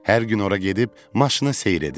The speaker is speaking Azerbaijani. Hər gün ora gedib maşını seyr edirdim.